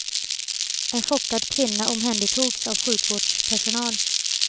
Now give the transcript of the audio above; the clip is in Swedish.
En chockad kvinna omhändertogs av sjukvårdspersonal.